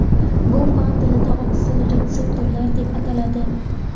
Bu fan tilida oqsil retseptorlar deb ataladi.